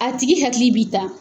A tigi hakili bi ta